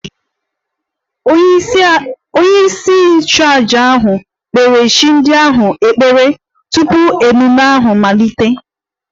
Onyeisi nchụaja ahụ kpere chi ndị ahụ ekpere tupu ememme ahụ amalite